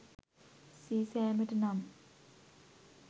සීසෑමට නම්